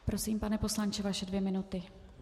Prosím, pane poslanče, vaše dvě minuty.